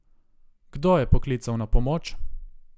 Kdo je poklical na pomoč?